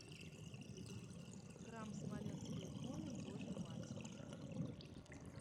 храм смоленской иконы божией матери